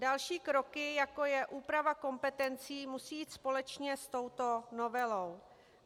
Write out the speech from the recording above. Další kroky, jako je úprava kompetencí, musí jít společně s touto novelou.